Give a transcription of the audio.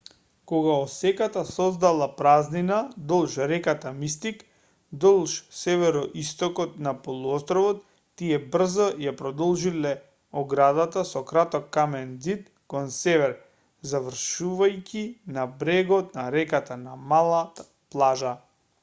кога осеката создала празнина долж реката мистик долж североистокот на полуостровот тие брзо ја продолжиле оградата со краток камен ѕид кон север завршувајќи на брегот на реката на мала плажа